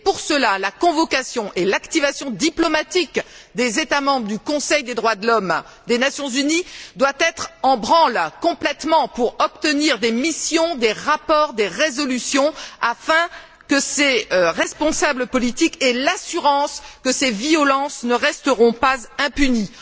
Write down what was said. Et pour cela, la convocation et l'activation diplomatiques des États membres du Conseil des droits de l'homme des Nations unies doivent être en branle complètement pour obtenir des missions, des rapports, des résolutions afin que ces responsables politiques aient l'assurance que ces violences ne resteront pas impunies.